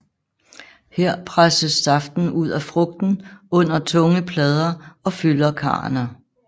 Her presses saften ud af frugten under tunge plader og fylder karrene